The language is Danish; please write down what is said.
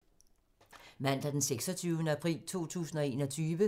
Mandag d. 26. april 2021